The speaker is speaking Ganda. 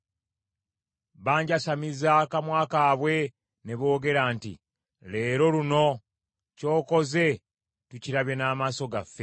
Banjasamiza akamwa kaabwe ne boogera nti, “Leero luno, ky’okoze tukirabye n’amaaso gaffe.”